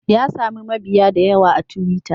Ya sami mabiya da yawa a twitter.